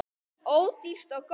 Ódýrt og gott.